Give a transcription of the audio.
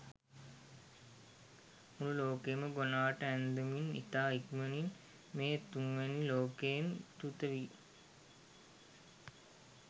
මුළු ලෝකයම ගොනාට අන්දමින් ඉතා ඉක්මණින් මේ තුන්වැනි ලෝකයෙන් චුත වී